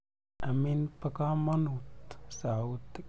Amin po kamonut sautik.